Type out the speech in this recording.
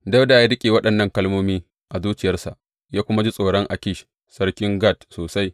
Dawuda ya riƙe waɗannan kalmomi a zuciyarsa, ya kuma ji tsoron Akish sarkin Gat sosai.